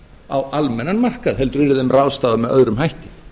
á almennan markað heldur yrði þeim ráðstafað með öðrum hætti